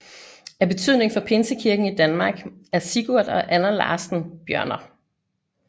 Af betydning for pinsekirken i Danmark er Sigurd og Anna Larssen Bjørner